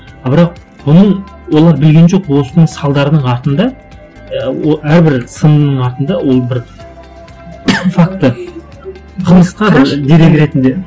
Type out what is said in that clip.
а бірақ бұның олар білген жоқ осының салдарының артында әрбір сынның артында ол бір факті қылмысқа дерек ретінде